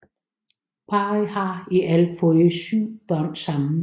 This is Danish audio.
Parret har i alt fået syv børn sammen